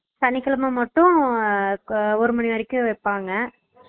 அஹ் சனிக்கிழம மட்டும் ஒரு மணி வரைக்கும் வெய்பாங்க